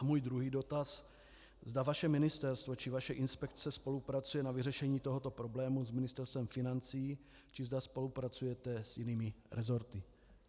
A můj druhý dotaz, zda vaše ministerstvo či vaše inspekce spolupracuje na vyřešení tohoto problému s Ministerstvem financí či zda spolupracujete s jinými resorty.